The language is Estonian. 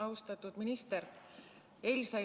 Austatud minister!